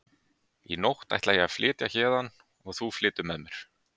Í nótt ætla ég að flytja héðan og þú flytur með mér.